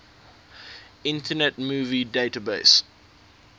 internet movie database